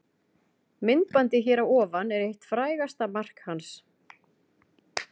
Myndbandið hér að ofan er eitt frægasta mark hans.